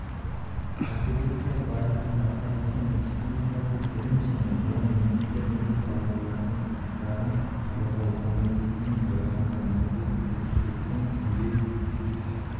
конференция барысында қазақстан республикасы білім және ғылым министрлігі балалардың құқықтарын қорғау комитетінің төрағасы нұрбек оршыбектің үндеу